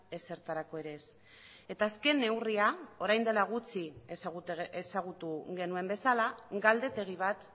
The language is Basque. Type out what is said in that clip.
ezertarako ere ez eta azken neurria orain dela gutxi ezagutu genuen bezala galdetegi bat